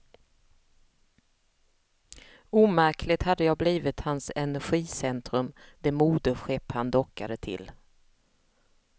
Omärkligt hade jag blivit hans energicentrum, det moderskepp han dockade till.